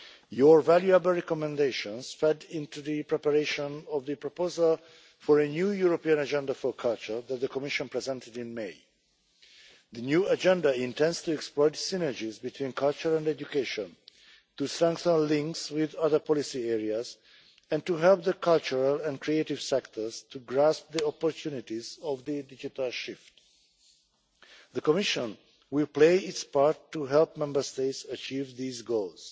Your valuable recommendations fed into the preparation of the proposal for a new European Agenda for Culture that the Commission presented in May. The new agenda intends to exploit synergies between culture and education, to strengthen links with other policy areas, and to help the cultural and creative sectors to grasp the opportunities of the digital shift. The Commission will play its part to help Member States achieve these goals.